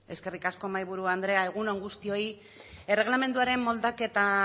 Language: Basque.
eskerrik asko mahaiburu andrea egun on guztioi erregelamenduaren moldaketa